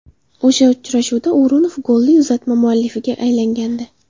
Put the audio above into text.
O‘sha uchrashuvda O‘runov golli uzatma muallifiga aylangandi.